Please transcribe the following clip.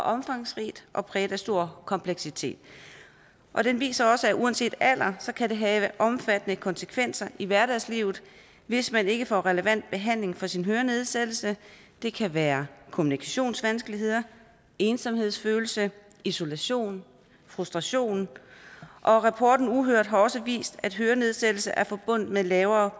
omfangsrigt og præget af stor kompleksitet og den viser også at uanset alder kan det have omfattende konsekvenser i hverdagslivet hvis man ikke får relevant behandling for sin hørenedsættelse det kan være kommunikationsvanskeligheder ensomhedsfølelse isolation frustration rapporten har også vist at hørenedsættelse er forbundet med lavere